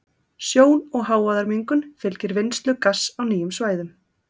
Sjón- og hávaðamengun fylgir vinnslu gass á nýjum svæðum.